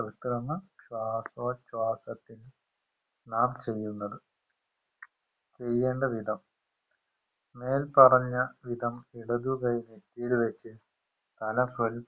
കൃത്രിമ ശ്വസോച്ഛാസത്തിന് നാം ചെയ്യുന്നത് ചെയ്യേണ്ട വിധം മേൽപ്പറഞ്ഞ വിധം ഇടതുകൈ നെറ്റിയിൽ വെച് തല